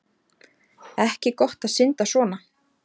Ekki gott að synda svona